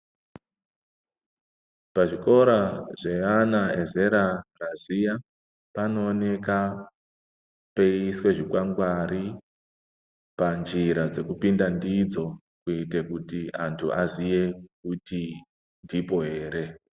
Pazvikora zveana ezera raziya panooneka peiiswe zvikwangwari, panjira dzekupinda ndidzo, kuite kuti antu aziye kuti ndipo here.